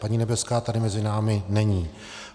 Paní Nebeská tady mezi námi není.